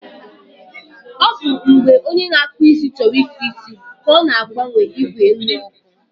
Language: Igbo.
ọ bụ mgbe onye na-akpụ isi chọrọ ịkpụ isi ka ọ na-agbanye igwe nnyeọkụ.